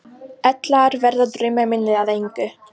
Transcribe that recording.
Ellegar verða draumar mínir að engu.